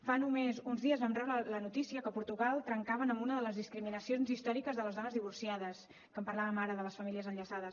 fa només uns dies vam rebre la notícia que a portugal trencaven amb una de les discriminacions històriques de les dones divorciades que en parlàvem ara de les famílies enllaçades